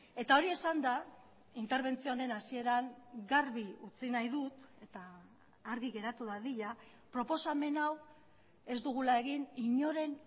eta hori esanda interbentzio honen hasieran garbi utzi nahi dut eta argi geratu dadila proposamen hau ez dugula egin inoren